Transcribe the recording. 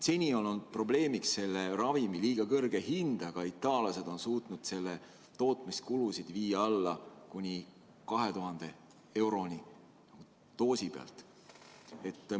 Seni olnud probleemiks selle ravimi liiga kõrge hind, aga itaallased on suutnud selle tootmiskulud viia alla kuni 2000 euroni doos.